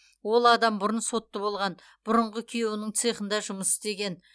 ол адам бұрын сотты болған бұрынғы күйеуінің цехында жұмыс істеген